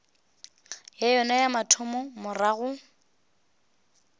ya yona ya mathomo morago